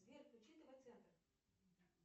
сбер включи тв центр